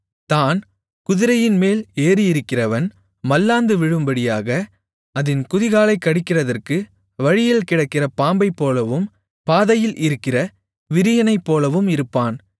தாண் குதிரையின்மேல் ஏறியிருக்கிறவன் மல்லாந்து விழும்படியாக அதின் குதிகாலைக் கடிக்கிறதற்கு வழியில் கிடக்கிற பாம்பைப்போலவும் பாதையில் இருக்கிற விரியனைப்போலவும் இருப்பான்